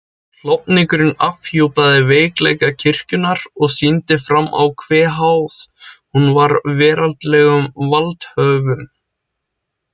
Klofningurinn afhjúpaði veikleika kirkjunnar og sýndi fram á hve háð hún var veraldlegum valdhöfum.